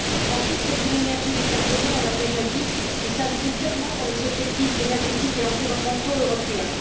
Ensuite, c'est une énergie décarbonée on l'a déjà dit qui s'inscrit pleinement dans les objectifs énergétiques et environnementaux européens.